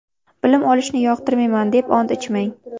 Bilim olishni yoqtirmayman deb ont ichmang!